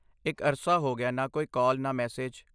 ਇੱਕ ਅਰਸਾ ਹੋ ਗਿਆ ਨ ਕੋਈ ਕਾਲ, ਨਾ ਮੈਸੇਜ।